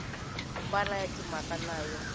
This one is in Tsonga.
hambana ya timhaka na yo